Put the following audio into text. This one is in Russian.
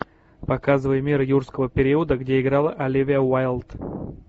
показывай мир юрского периода где играла оливия уайлд